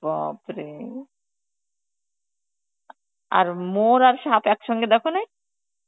বাপরে! আর Hindi আর সাপ একসঙ্গে দেখো নাই?